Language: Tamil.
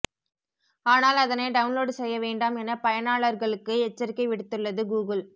ஆனால் அதனை டவுன்லோடு செய்ய வேண்டாம் என பயனாளர்களுக்கு எச்சரிக்கை விடுத்துள்ளது கூகுள்